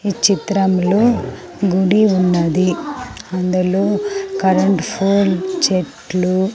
ఈ చిత్రంలో గుడి ఉన్నది అందులో కరెంట్ ఫోల్ చెట్లు.